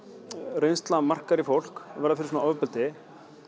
reynsla markar í fólk að verða fyrir svona ofbeldi